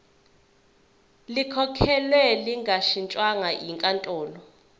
likhokhelwe lingashintshwa yinkantolo